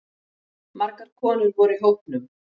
Margar konur voru í hópnum